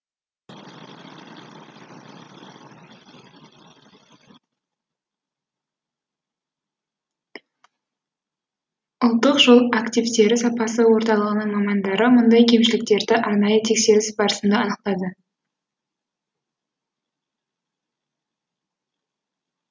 ұлттық жол активтері сапасы орталығының мамандары мұндай кемшіліктерді арнайы тексеріс барысында анықтады